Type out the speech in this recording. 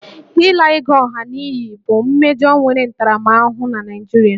Ịla ego ọha n'iyi bụ mmejọ nwere ntaramahụhụ na Naịjirịa